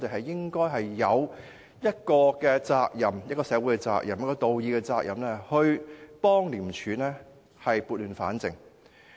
正因如此，我們有社會責任和道義責任幫助廉署撥亂反正。